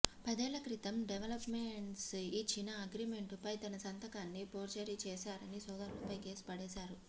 పదేళ్ల క్రితం డెవలప్మెంట్కై యిచ్చిన అగ్రిమెంటుపై తన సంతకాన్ని ఫోర్జరీ చేశారని సోదరులపై కేసు పడేశాడు